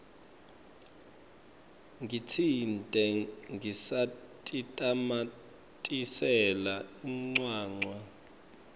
ngitsite ngisatitamatisela incwancwa